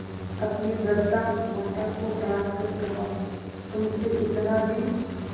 अपनी वृद्धा माता को डॉँट कर कहातुमसे इतना भी